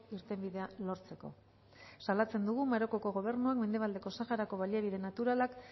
irtenbidea lortzeko salatzen dugu marokoko gobernuak mendebaldeko saharako baliabide naturalak